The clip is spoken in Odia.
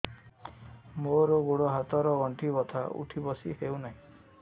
ମୋର ଗୋଡ଼ ହାତ ର ଗଣ୍ଠି ବଥା ଉଠି ବସି ହେଉନାହିଁ